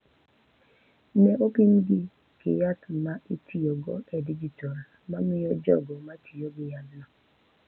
Ne opimgi gi yath ma itiyogo e dijital ma miyo jogo ma tiyo gi yathno